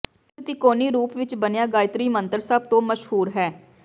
ਇਸ ਤਿਕੋਣੀ ਰੂਪ ਵਿਚ ਬਣਿਆ ਗਾਇਤਰੀ ਮੰਤਰ ਸਭ ਤੋਂ ਮਸ਼ਹੂਰ ਹੈ